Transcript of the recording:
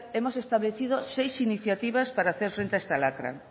hemos establecido seis iniciativas para hacer frente a esta lacra